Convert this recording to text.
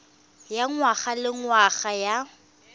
ya ngwaga le ngwaga ya